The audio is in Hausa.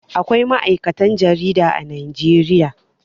Akwai ma'aikatan jarida a Najeriya.